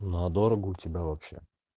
но дорого у тебя вообще